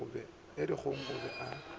ga dikgong o be a